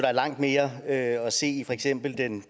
er langt mere at se i for eksempel den